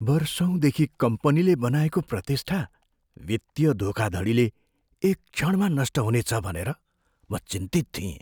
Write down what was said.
वर्षौँदेखि कम्पनीले बनाएको प्रतिष्ठा वित्तीय धोखाधडीले एक क्षणमा नष्ट हुनेछ भनेर म चिन्तित थिएँ।